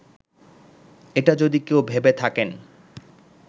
এটা যদি কেউ ভেবে থাকেন